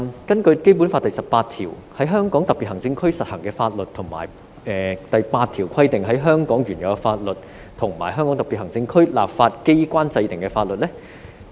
根據《基本法》第十八條："在香港特別行政區實行的法律為本法以及本法第八條規定的香港原有法律和香港特別行政區立法機關制定的法律。